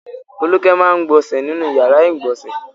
Folúkẹ máa ń gbọnṣẹ̀ nínú ìyàrá-ìgbọnsẹ̀.